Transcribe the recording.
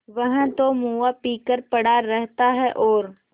वह तो मुआ पी कर पड़ा रहता है और